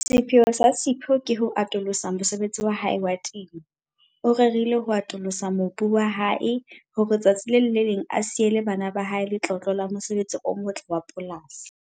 Sepheo sa Sipho ke ho atolosa mosebetsi wa hae wa temo. O rerile ho atolosa mobu wa hae hore tsatsi le leng a siele bana ba hae letlotlo la mosebetsi o motle wa polasi.